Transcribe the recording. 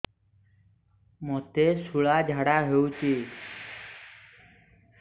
ମୋତେ ଶୂଳା ଝାଡ଼ା ହଉଚି